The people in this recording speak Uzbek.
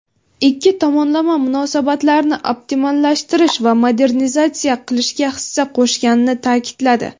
ikki tomonlama munosabatlarni optimallashtirish va modernizatsiya qilishga hissa qo‘shganini ta’kidladi.